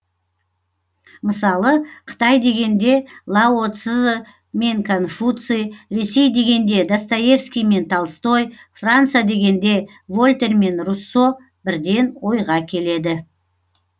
мысалы қытай дегенде лао цзы мен конфуций ресей дегенде достоевский мен толстой франция дегенде вольтер мен руссо бірден ойға келеді